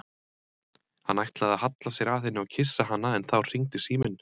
Hann ætlaði að halla sér að henni og kyssa hana en þá hringdi síminn.